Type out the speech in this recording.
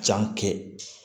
Jan kɛ